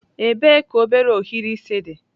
Ebee ka obere ohiri isi dị?